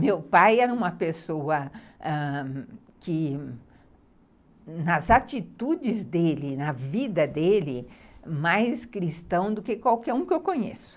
Meu pai era uma pessoa que, ãh, nas atitudes dele, na vida dele, mais cristão do que qualquer um que eu conheço.